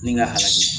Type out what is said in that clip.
Ni n ka halaki